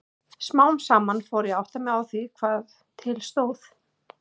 Smám saman fór ég að átta mig á því hvað til stóð.